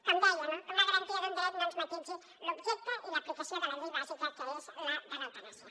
com deia no que una garantia d’un dret no ens matisi l’objecte i l’aplicació de la llei bàsica que és la de l’eutanàsia